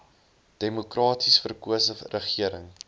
demokraties verkose regering